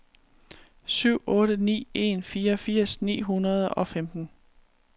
syv otte ni en fireogfirs ni hundrede og femten